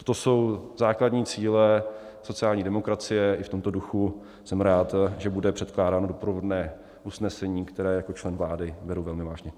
To jsou základní cíle sociální demokracie, i v tomto duchu jsem rád, že bude překládáno doprovodné usnesení, které jako člen vlády beru velmi vážně.